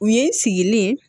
U ye n sigilen